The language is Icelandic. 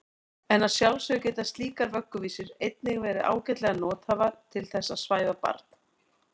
En að sjálfsögðu geta slíkar vögguvísur einnig verið ágætlega nothæfar til þess að svæfa barn.